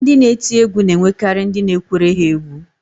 Ndị na-eti egwu na-enwekarị ndị na-ekwere ha egwú